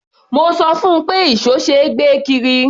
Mo sọ fún un pé ìṣó ṣe é gbé kiri.